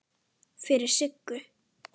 Fyrir Siggu.